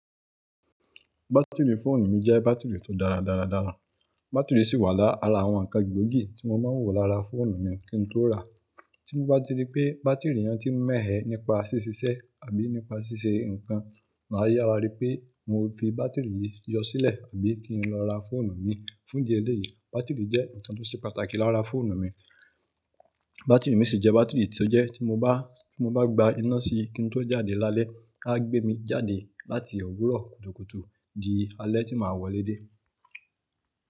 Bátìrì fóònù mi jẹ́ bátìrì tó dára dáradára. Bátìrì sì wà lára àwọn ǹkan gbóògì tí mo máa ń wò lára fóònù mi kí n tó ràá. Tí mo bá ti rí pé bátìrì yẹn ti ń mẹ́ẹ̀hẹ́ nípa ṣíṣiṣẹ́ àbí nípa ṣíṣe ǹkan, màá yára rí pé mo ti fi bátìrì yìí yọ sílẹ̀ àbí kí n lọ ra fóònù mi. Fún díẹ̀ éleyì, bátìrì jẹ́ ǹkan tó ṣe pàtàkì lára fóònù mi. Bátìrì mi sì jẹ́ bátìrì tó jẹ́ tí mo bá, tí mo bá gba iná sí i kí n tó jáde lálẹ́, á gbé mi jáde láti òwúrọ̀ kùtùkùtù di alẹ́ tí màá wọlé dé.